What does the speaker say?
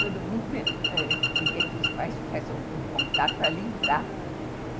Todo mundo queria que os pais fizessem algum contato para livrar.